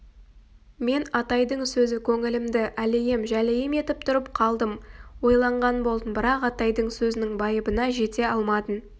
мен атайдың сөзі көңілімді әлейім-жәлейім етіп тұрып қалдым ойланған болдым бірақ атайдың сөзінің байыбына жете алмадым